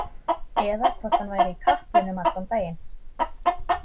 Eða hvort hann væri í kaplinum allan daginn.